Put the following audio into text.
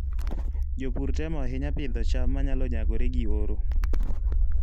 Jopur temo ahinya pidho cham manyalo nyagore gi oro.